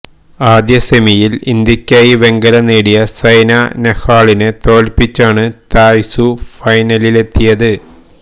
ആദ്യ സെമിയില് ഇന്ത്യക്കായി വെങ്കലം നേടിയ സൈന നെഹ്വാളിനെ തോല്പ്പിച്ചാണ് തായ് സൂ ഫൈനലിലെത്തിയത്